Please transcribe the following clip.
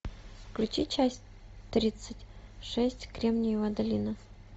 включи часть тридцать шесть кремниевая долина